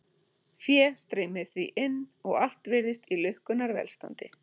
Fé streymir því inn og allt virðist í lukkunnar velstandi.